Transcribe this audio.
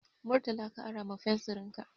Murtala ka ara ma fensirin ka.